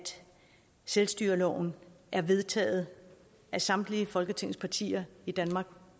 selvstyreloven er vedtaget af samtlige folketingets partier i danmark